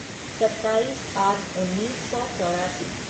सत्ताईस आठ उन्नीस सौ चौरासी